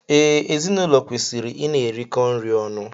Ee, ezinụlọ kwesịrị I na-erikọ nri ọnụ.